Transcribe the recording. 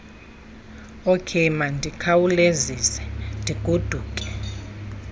okey mandikhawulezise ndigoduke